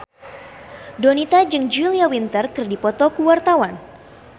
Donita jeung Julia Winter keur dipoto ku wartawan